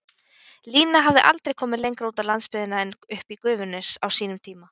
Lína hafði aldrei komið lengra út á landsbyggðina en uppí Gufunes, á sínum tíma.